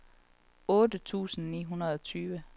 otte tusind ni hundrede og tyve